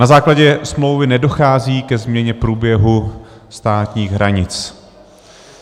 Na základě smlouvy nedochází ke změně průběhu státních hranic.